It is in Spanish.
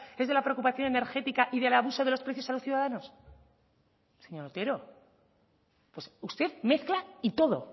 es de la preocupación energética y del abuso de los precios a los ciudadanos señor otero pues usted mezcla y todo